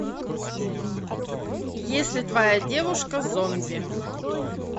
если твоя девушка зомби